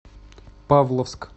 павловск